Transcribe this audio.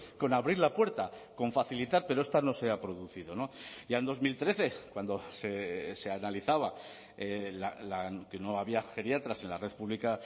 con abrir la puerta con facilitar pero esta no se ha producido ya en dos mil trece cuando se analizaba que no había geriatras en la red pública